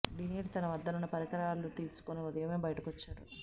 డినీట్ తన వద్దనున్న పరికరాలు తీసుకొని ఉదయమే బయటకు వచ్చేవాడు